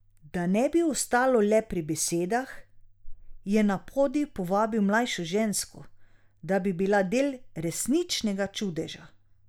Da ne bi ostalo le pri besedah, je na podij povabil mlajšo žensko, da bi bila del resničnega čudeža.